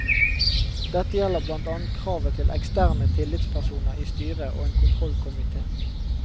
Dette gjelder blant annet kravet til eksterne tillitspersoner i styret og en kontrollkomité.